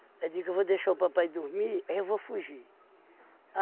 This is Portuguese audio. Aí digo eu vou deixar o papai dormir, aí eu vou fugir.